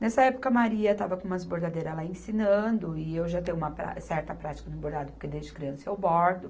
Nessa época, a Maria estava com umas bordadeiras lá ensinando e eu já tenho uma prá, certa prática no bordado, porque desde criança eu bordo.